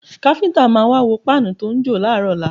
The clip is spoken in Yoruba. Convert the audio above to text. Káfíńtà máa wá wo páànù tó ń jò láàárọ̀ ọ̀la